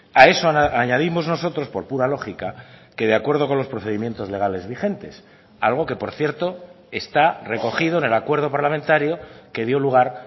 a eso añadimos nosotros por pura lógica que de acuerdo con los procedimientos legales vigentes algo que por cierto está recogido en el acuerdo parlamentario que dio lugar